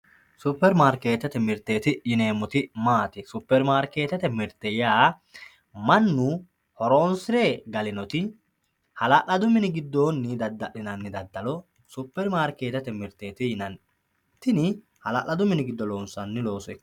Superi marketete mirte yaa mayate supermarketete mirte yaa mannu horonsire galinoti halaladu mini gidooni dadalinani dadalo superi marketete dadalo yinani tini halaladu.